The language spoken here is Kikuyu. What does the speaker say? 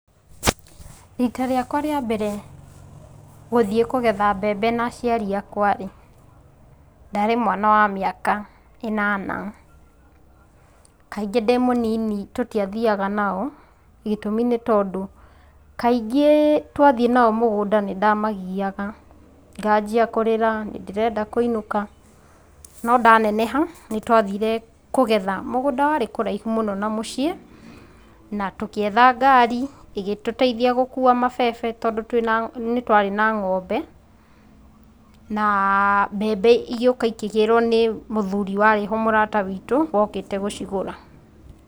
Rita rĩakwa rĩa mbere gũthiĩ kũgetha mbembe na aciari akwa-rĩ, ndarĩ mwana wa mĩaka ĩnana. Kaingĩ ndĩmũnini tũtiathiaga nao gĩtũmi nĩ tondũ kaingĩ twathiĩ nao mũgũnda nĩ ndamagiaga. Nganjia kũrĩra, nĩ ndĩrenda kũinũka. No ndaneneha, nĩ twathire kũgetha mũgũnda warĩ kũraihu mũno na mũciĩ, na tũgĩetha ngari ĩgĩtũteithia gũkuwa mabebe nĩ tondũ twarĩ na ng'ombe. Na mbembe ikĩgĩrwo nĩ mũthuri warĩ-ho mũrata witũ wokĩte gũcigũra.